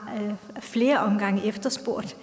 har ad flere omgange efterspurgt